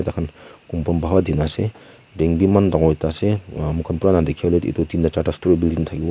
kunba ase bank bhi eman dangor ekta ase dikhi bole dui ta tin ta charta store building thaki bo.